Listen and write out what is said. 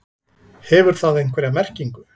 Hefur það einhverja merkingu?